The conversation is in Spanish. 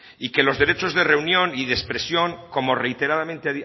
y que los derechos de reunión y de expresión como reiteradamente